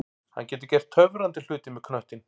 Hann getur gert töfrandi hluti með knöttinn.